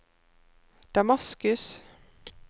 Damaskus